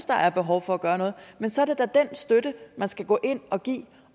der er behov for at gøre noget men så er det da den støtte man skal gå ind og give